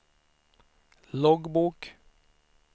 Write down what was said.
loggbok